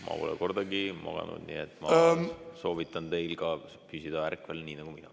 Ma pole kordagi maganud ja ma soovitan ka teil püsida ärkvel nagu mina.